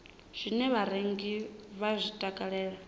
zwine vharengi vha zwi takalela